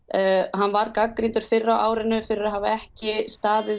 hann var gagnrýndur fyrr á árinu fyrir að hafa ekki staðið